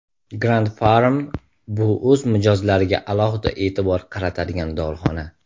Grand Pharm - bu o‘z mijozlariga alohida e’tibor qaratadigan dorixona!